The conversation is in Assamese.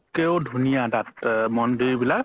ধুনীয়া তাত মন্দিৰ বিলাক